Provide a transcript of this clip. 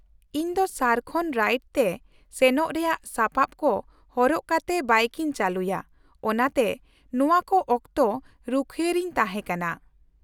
-ᱤᱧ ᱫᱚ ᱥᱟᱨᱠᱷᱚᱱ ᱨᱟᱭᱤᱰ ᱛᱮ ᱥᱮᱱᱚᱜ ᱨᱮᱭᱟᱜ ᱥᱟᱯᱟᱵ ᱠᱚ ᱦᱚᱨᱚᱜ ᱠᱟᱛᱮ ᱵᱟᱭᱤᱠᱤᱧ ᱪᱟᱹᱞᱩᱭᱟ, ᱚᱱᱟᱛᱮ ᱱᱚᱶᱟ ᱠᱚ ᱚᱠᱛᱚ ᱨᱩᱠᱷᱤᱣᱟᱹ ᱨᱤᱧ ᱛᱟᱦᱮᱸ ᱠᱟᱱᱟ ᱾